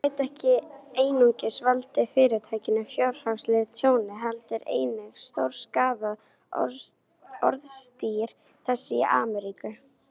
Þau gætu ekki einungis valdið Fyrirtækinu fjárhagslegu tjóni, heldur einnig stórskaðað orðstír þess í Ameríku.